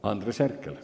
Andres Herkel.